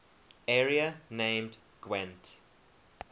area named gwent